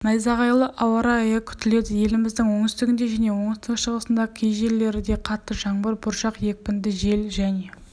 найзағайлы ауа райы күтіледі еліміздің оңтүстігінде және оңтүстік-шығысында кейжерлерде қатты жаңбыр бұршақ екпінді жел және